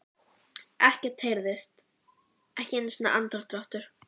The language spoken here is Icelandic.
Ekkert heyrðist, ekki einu sinni andardráttur.